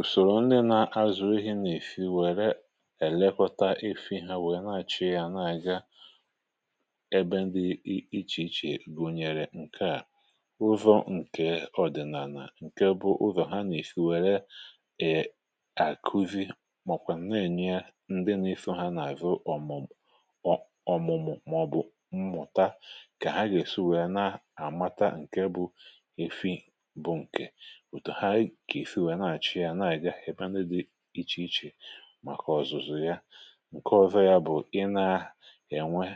Ụsọ̀rọ̀ ndị na-azụ̀rọ̀ anụ efi nwere elekọta efi ha nwere, na-achị ya, na-aga ebe ndị iche iche, bụnyere nke a ụzọ nke ọdịnala. Nke a bụ ụzọ ha na-efi, nwere akụvị, ma ọ́kwa na-enye ndị na-efe ha na-azụ ọmụmụ ma ọ̀bụ̀ mmụta ka ha ga-esi nwee na-amata nke bụ efi bụ nke íchì. Maka ọzụzụ ya, nke ọzọ ya bụ: ị na-enwe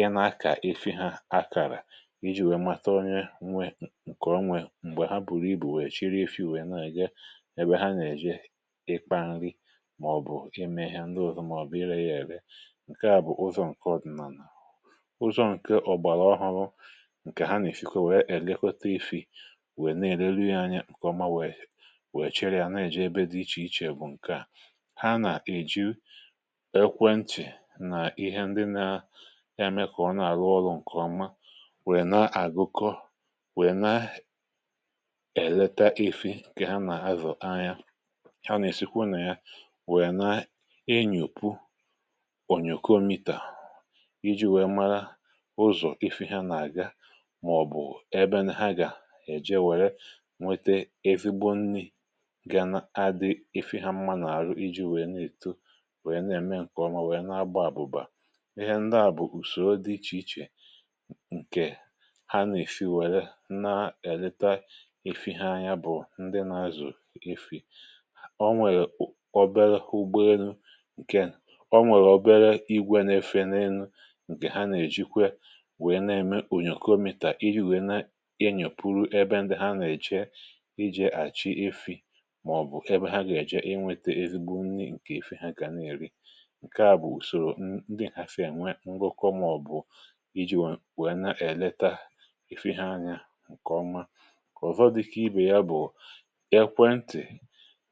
ị na-akà efi ha akara iji wee mata onye nwe nke onwe mgbe ha bùrù ibu wee chịrị efi wee na-aga ebe ha na-eje ikpa nri ma ọ bụ ime ihe ndị ọzọ ma ọ bụ ị rere ya ere. Nke a bụ ụzọ nke ọdịnala, na ụzọ nke ọgbara ọhọ̀rọ̀. Nke ha na-efikwa wee elekọta efi, wee na-ele ya anya nke ọma, wee ha na-eji ekwentị na ihe ndị na-eme kọmpụta na-arụ ọrụ nke ọma, wee na-agụkọ, wee na-eleta efi ka ha na-azụ ya. Ha na-esikwa na ya, wee na-enye ònyùkọ mità iji wee mara ụzọ efi ha na-aga ma ọ bụ ebe na ha ga-eje were nwete evigbo nni efi ha mma n’ara, iji wee na-eto, wee na-eme nke ọma. Wee na-agba ọsọ bụ ihe ndị a bụ usoro dị iche iche. Nke ha na-efi were na-eleta efi ha anya bụ ndị na-azụ efi. Ọ nwere obere ụgbọ elu nke o nwere obere igwe n’efe n’elu. Nke ha na-eji kwa wee na-eme ònyòkò omìtà, iji wee na-enyòpụ̀ru ebe ndị ha na-eche ije, achị efi ebe ha ga-ajụ ya inweta ezigbo nni, nke ihe ha ka na-eri. Nke a bụ ụsọ̀rọ̀ ndị a. Ha fi enwe ngwọkwa ma ọ bụ iji wee na-eleta efi ha anya nke ọma. Ọzọ dị ka ibe ya bụ ekwentị,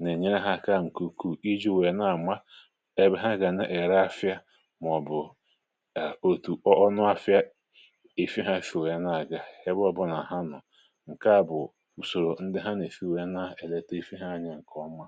na-enye ha aka n’ụkwụ, iji wee na-ama ebe ha ga-era ahịa ma ọ bụ otu ọnụ ahịa efi ha si wee na-aga ebe ọbụla na aha nọ. Nke a bụ ka ọ́ma.